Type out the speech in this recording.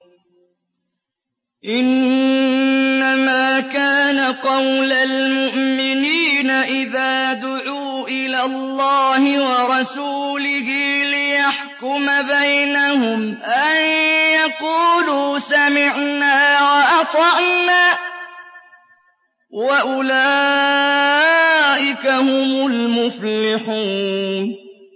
إِنَّمَا كَانَ قَوْلَ الْمُؤْمِنِينَ إِذَا دُعُوا إِلَى اللَّهِ وَرَسُولِهِ لِيَحْكُمَ بَيْنَهُمْ أَن يَقُولُوا سَمِعْنَا وَأَطَعْنَا ۚ وَأُولَٰئِكَ هُمُ الْمُفْلِحُونَ